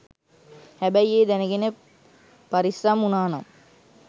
හැබැයි ඒ දැනගෙන පරිස්සම් වුනානම්